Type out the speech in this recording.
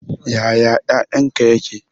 Ya ƴaƴan ka ƴaƙe?